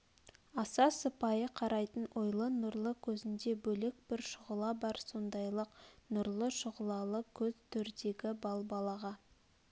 аса сыпайы қарайтын ойлы нұрлы көзнде бөлек бір шұғла бар сондайлық нұрлы шұғлалы көз төрдегі балбалаға